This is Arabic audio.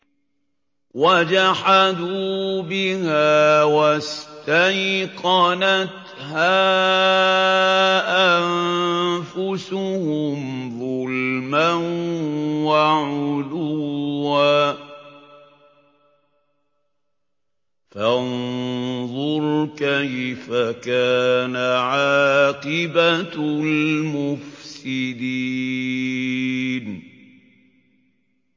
وَجَحَدُوا بِهَا وَاسْتَيْقَنَتْهَا أَنفُسُهُمْ ظُلْمًا وَعُلُوًّا ۚ فَانظُرْ كَيْفَ كَانَ عَاقِبَةُ الْمُفْسِدِينَ